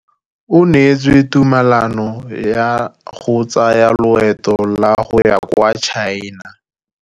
O neetswe tumalanô ya go tsaya loetô la go ya kwa China.